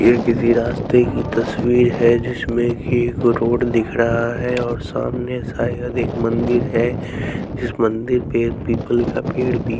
ये किसी रास्ते की तस्वीर है जिसमें कि एक रोड दिख रहा है और सामने शायद एक मंदिर है जिस मंदिर पे पीपल का पेड़ भी--